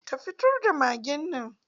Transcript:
Ka fitar da magen nan!